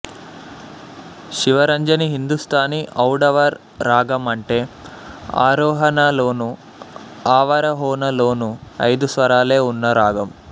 శివరంజని హిందుస్తానీ ఔడవ రాగం అంటే ఆరోహణలోనూ అవరోహణలోనూ ఐదు స్వరాలే ఉన్న రాగం